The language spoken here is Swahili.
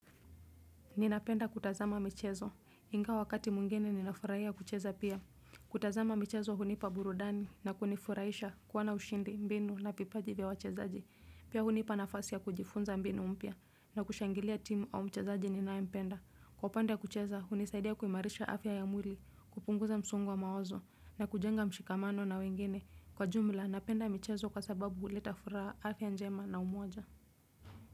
Ninapenda kutazama michezo. Ingawa wakati mwingine ninafurahia kucheza pia. Kutazama michezo hunipa burudani na kunifurahisha kuwa na ushindi, mbinu na vipaji vya wachezaji. Pia hunipa nafasi ya kujifunza mbinu mpya na kushangilia timu au mchezaji ninayempenda. Kwa pande ya kucheza hunisaidia kuimarisha afya ya mwili, kupunguza msongo wa mawazo na kujenga mshikamano na wengine. Kwa jumla, napenda michezo kwa sababu huleta furaha, afya njema na umoja.